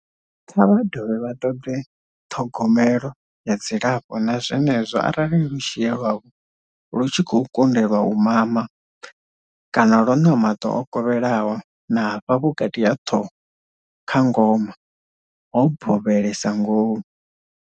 Kha vha dovhe vha ṱoḓe ṱhogomelo ya dzilafho na zwenezwo arali lushie lwavho lu tshi khou konḓelwa u mama kana lu na maṱo o kovhelaho na hafha vhukati ha ṱhoho, kha ngoma, ho bovhelesa ngomu.